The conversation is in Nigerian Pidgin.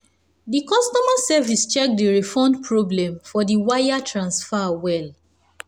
the customer service check the refund problem for the wire transfer well.